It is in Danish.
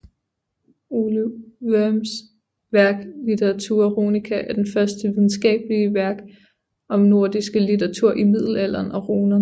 Ole Worms værk Literatura Runica er det første videnskabelige værk om nordiske litteratur i middelalderen og runerne